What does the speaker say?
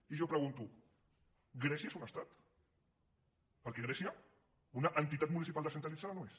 i jo pregunto grècia és un estat perquè grècia una entitat municipal descentralitzada no és